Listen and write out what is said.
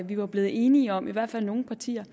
vi var blevet enige om i hvert fald nogle partier